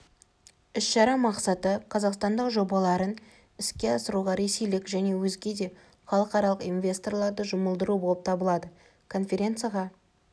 іс-шара мақсаты қазақстандық жобаларын іске асыруға ресейлік және өзге де халықаралық инвесторларды жұмылдыру болып табылады конференцияға